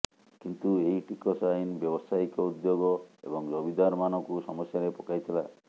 କିନ୍ତୁ ଏହି ଟିକସ ଆଇନ ବ୍ୟବସାୟିକ ଉଦ୍ୟୋଗ ଏବଂ ଜମିଦାରମାନଙ୍କୁ ସମସ୍ୟାରେ ପକାଇଥିଲା